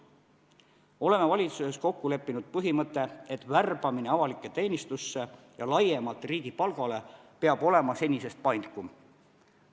Oleme valitsuses kokku leppinud põhimõtte, et värbamine avalikku teenistusse ja laiemalt riigi palgale peab olema senisest paindlikum.